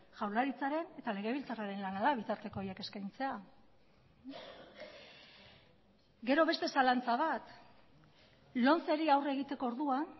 jaurlaritzaren eta legebiltzarraren lana da bitarteko horiek eskaintzea gero beste zalantza bat lomceri aurre egiteko orduan